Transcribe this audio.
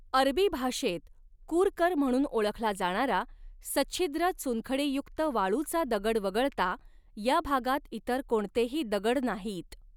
अरबी भाषेत कुरकर म्हणून ओळखला जाणारा सच्छिद्र चुनखडीयुक्त वाळूचा दगड वगळता ह्या भागात इतर कोणतेही दगड नाहीत.